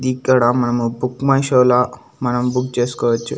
ఇక్కడ మనము book my షోలా మనం బుక్ చేసుకోవచ్చు.